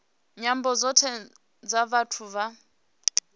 nyambo dzothe dza vhathu vha